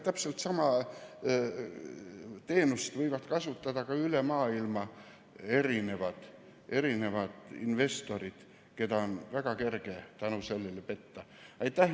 Täpselt sama teenust võivad kasutada üle maailma investorid, keda on seetõttu väga kerge petta.